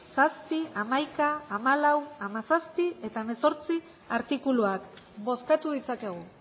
zazpi hamaika hamalau hamazazpi eta hemezortzi artikuluak bozkatu ditzakegu